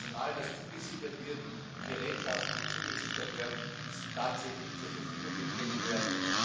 das heißt, Personal, das zugesichert wird, und Gerätschaften, die zugesichert werden, müssen tatsächlich zur Verfügung gestellt werden.